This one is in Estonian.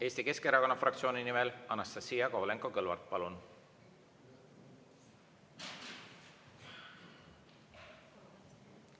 Eesti Keskerakonna fraktsiooni nimel Anastassia Kovalenko-Kõlvart, palun!